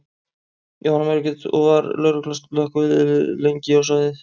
Jóhanna Margrét: Og var, var lögregla og slökkvilið lengi á svæðið?